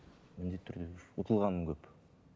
міндетті түрде ұтылғаным көп